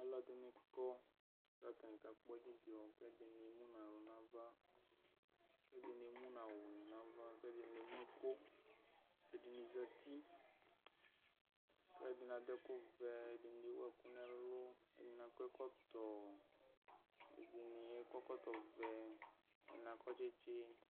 Alʋ ɛdini kɔ kʋ atani kakpɔ dzidzɔ kʋ ɛdini emʋnʋ aɣla nʋ ava kʋ ɛdini emʋnʋ awʋni nʋ ava kʋ ɛdini emʋ iko kʋ ɛdini zati kʋ ɛdini adʋ ɛkʋvɛ ɛdini ewʋ ɛkʋ nʋ ɛlʋ ɛdini akɔ ɛkɔtɔ ɛdini akɔ ɛkɔtɔvɛ ɛdini akɔ tsitis